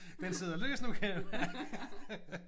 Den sidder løst nu kan jeg mærke